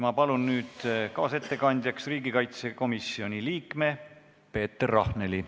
Ma palun nüüd kaasettekandjaks riigikaitsekomisjoni liikme Peeter Rahneli.